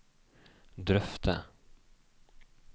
drøfte